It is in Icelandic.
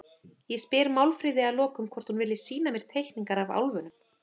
Ég spyr Málfríði að lokum hvort hún vilji sýna mér teikningar af álfunum.